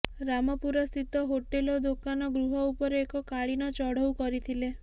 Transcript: ରାମପୁର ସ୍ଥିତ ହୋଟେଲ ଓ ଦୋକାନ ଗୃହ ଉପରେ ଏକ କାଳୀନ ଚଢଉ କରିଥିଲେ